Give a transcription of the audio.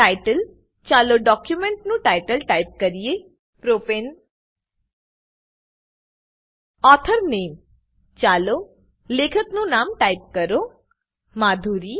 title ચાલો document નું title type કરીએ પ્રોપને ઓથોર name ચાલો લેખકનું નામ ટાઈપ કરો મધુરી